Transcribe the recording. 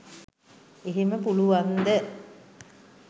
එහෙම පුළුවන්ද